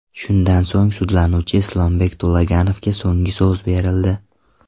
Shundan so‘ng, sudlanuvchi Islombek To‘laganovga so‘nggi so‘z berildi.